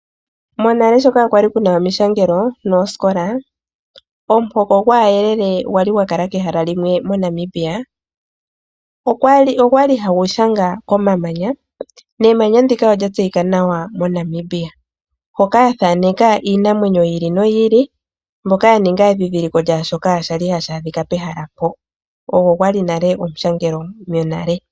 Monale sho kaakwali kuna omishangelo noosikola omuhoko gwaayelele kwali yakala pehala limwe moNamibia. Ogwali hagu nyola komamanya nemanya ndika olya tseyika nawa moNamibia hoka yathaaneka iinamwenyo yi ili no yi ili hoka yaninga omadhidhiliko gaashoka hashi adhika pehala mpoka ogo gwali omushangelo monale.